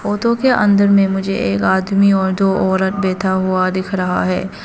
Photo के अंदर में मुझे एक आदमी और दो औरत बैठा हुआ दिख रहा है।